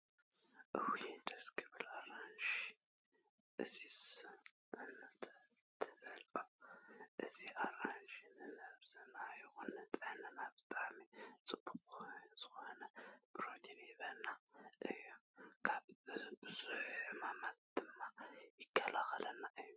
እውይ ደስ ክብል ኣራንሺ። እዚስ እንተትበልዖ። እዚ ኣራንሺ ንነብስና ይኩን ንጥዕናና ብጣዕሚ ፅቡቅ ዝኮነ ፕሮቲን ይህበና እዩ። ካብ ቡዙሕ ሕማማት ድማ ይከላከለልና እዩ።